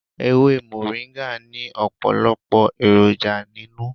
Ewé moringa ni ọpọlọpọ èròjà nínú.